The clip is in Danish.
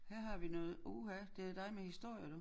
Her har vi noget uha det dig med historie du